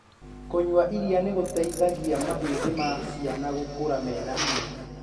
Kunyua iria nĩgũteithagia mahĩndi ma ciana gũkura mena hinya.